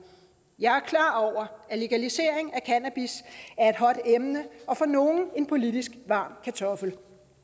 jeg er klar over at legalisering af cannabis er et hot emne og for nogle en politisk varm kartoffel